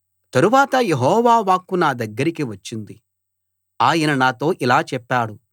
తరువాత యెహోవా వాక్కు నా దగ్గరకి వచ్చింది ఆయన నాతో ఇలా చెప్పాడు